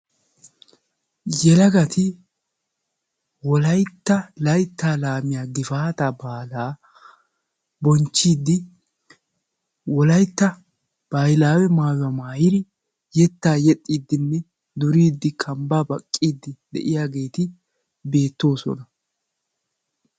yelagati Wolaytta laytta laamiya gifaata maayuwaa maayyide yetta yexxidi duriddinne kambba baqqidi de'iyaageeti beettoossona.